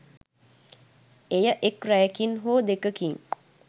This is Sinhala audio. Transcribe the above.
එය එක් රැයකින් හෝ දෙකකින්